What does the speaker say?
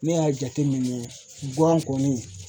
Ne y'a jateminɛ guwan kɔni